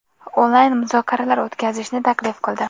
onlayn muzokaralar o‘tkazishni taklif qildi.